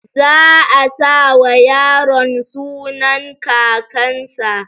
Zaa sawa yaron sunan kakan sa